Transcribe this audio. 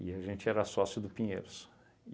E a gente era sócio do Pinheiros.